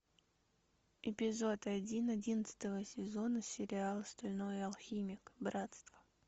эпизод один одиннадцатого сезона сериал стальной алхимик братство